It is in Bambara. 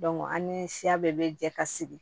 an ni siya bɛɛ bɛ jɛ ka segin